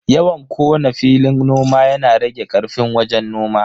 Yawan kona filin noma yana rage karfin wajen noman.